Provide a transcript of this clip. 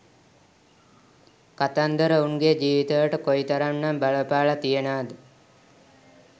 කතන්දර ඔවුන්ගේ ජීවිතවලට කොයිතරම් නම් බලපාල තියෙනවද